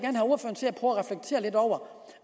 over